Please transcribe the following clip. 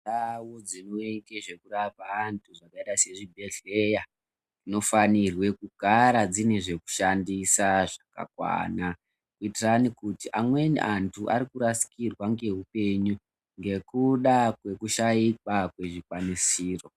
Ndau dzinoite zvekurapa anhu dzakaita sezvibhedhleya, dzinofanirwekugara dzine zvekushandisa zvakakwana, kuitira ani kuti amweni anhu ari kurasikirwa ngeupenyu, ngekuda kwekushaikwa kwezvikwanisiro.